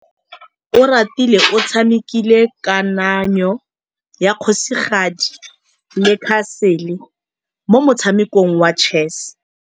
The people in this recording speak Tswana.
Oratile o tshamekile kananyô ya kgosigadi le khasêlê mo motshamekong wa chess.